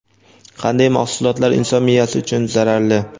Qanday mahsulotlar inson miyasi uchun zararli?.